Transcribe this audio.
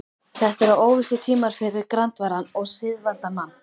Þetta eru óvissutímar fyrir grandvaran og siðavandan mann.